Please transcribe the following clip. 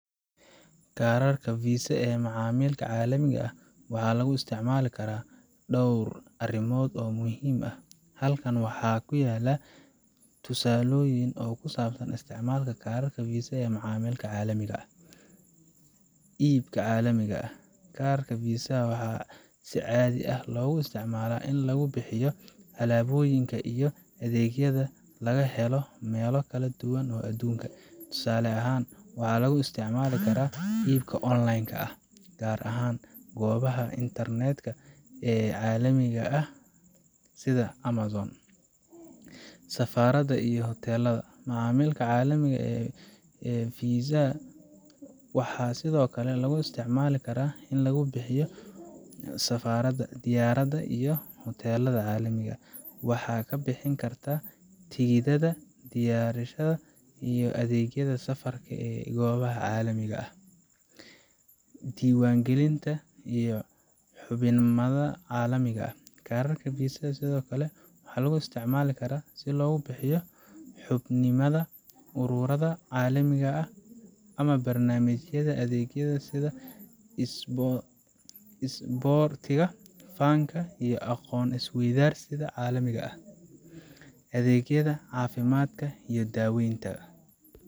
Kararka Visa ee macaamilka caalamiga ah waxaa lagu isticmaali karaa dhowr arrimood oo muhiim ah. Halkan waxaa ku yaala tusaalooyin ku saabsan isticmaalka kararka Visa ee macaamilka caalamiga ah: Iibka Caalamiga ah: Kararka Visa waxaa si caadi ah loogu isticmaalaa in lagu bixiyo alaabooyinka iyo adeegyada laga helo meelo kala duwan oo adduunka ah. Tusaale ahaan, waxaa lagu isticmaali karaa iibka online ka ah, gaar ahaan goobaha internet ka ee caalamiga ah sida Amazon. Safarada iyo Hoteelada: Macaamilka caalamiga ah ee Visa ka waxaa sidoo kale lagu isticmaali karaa in lagu bixiyo safarada, diyaaradaha, iyo hoteelada caalamiga ah. Waxaad ka bixin kartaa tikidhada diyaaradaha iyo adeegyada safarka ee goobaha caalamiga ah. Diiwaangelinta iyo Xubinimada Caalamiga ah: Kararka Visa waxaa sidoo kale lagu isticmaali karaa si loo bixiyo xubinimada ururada caalamiga ah ama barnaamijyada adeegyada sida isboortiga, fanka, iyo aqoon isweydaarsiyada caalamiga ah. Adeegyada Caafimaadka iyo Daaweynta